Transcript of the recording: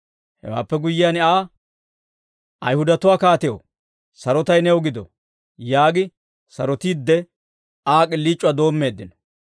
Hewaappe guyyiyaan Aa, «Ayihudatuwaa kaatew, sarotay new gido» yaagi sarotiidde, Aa k'iliic'uwaa doommeeddino.